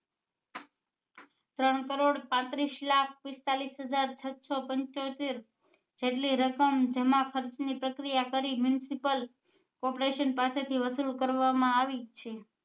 ત્રણ કરોડ પાંત્રીસ લાખ પિસ્તાલીસ હજાર છસો પંચોતેર જેટલી રકમ જમા ખર્ચ ની પ્રક્રિયા કરી municipal corporation પાસે થી વસુલ કરવા માં આવી છે